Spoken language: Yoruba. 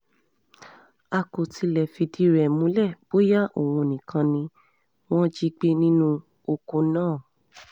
a kò tí ì lè fìdí rẹ̀ múlẹ̀ bóyá òun nìkan ni wọ́n jí gbé nínú ọkọ̀ náà